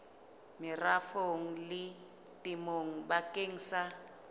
merafong le temong bakeng sa